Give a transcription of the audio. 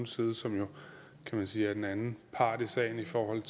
side som jo kan man sige er den anden part i sagen i forhold